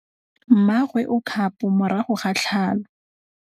Mmagwe o kgapô morago ga tlhalô.